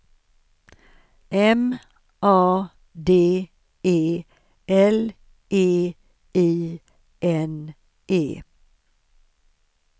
M A D E L E I N E